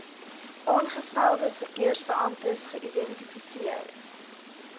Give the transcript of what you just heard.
aangestelde verkeersbeamptes geïdentifiseer